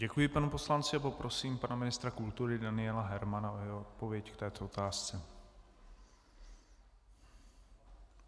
Děkuji panu poslanci a poprosím pana ministra kultury Daniela Hermana o jeho odpověď k této otázce.